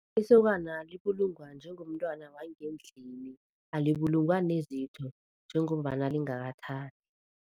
Isokana libulungwa njengomntwana wangendlini, alibulungwa nezitho njengombana lingakathathi.